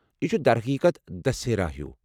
یہِ چھُ ، در حقیقت ، دسہرہ ہِیوٗ۔